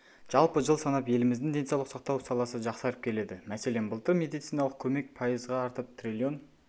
жалпы жыл санап еліміздің денсаулық сақтау саласы жақсарып келеді мәселен былтыр медициналық көмек пайызға артып триллион